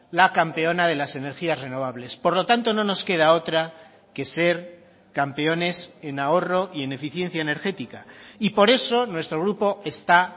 la campeona de las energías renovables por lo tanto no nos queda otra que ser campeones en ahorro y en eficiencia energética y por eso nuestro grupo está